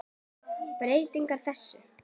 Breytum þessu!